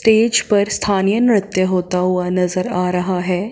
Stage पर स्थानीय नृत्य होता हुआ नजर आ रहा है।